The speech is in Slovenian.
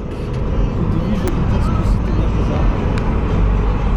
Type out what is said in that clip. Tudi vi želite izkusiti nepozabno vožnjo?